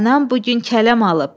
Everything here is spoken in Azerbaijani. Anam bu gün kələm alıb.